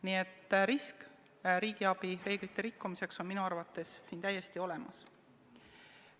Nii et risk riigiabireeglite rikkumiseks on minu arvates siin täiesti olemas.